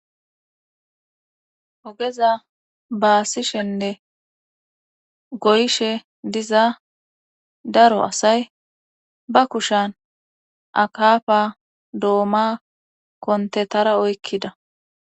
Ogeza baasishenne goyshe diza daro asay ba kushan akafa dooma kontetara oykkida.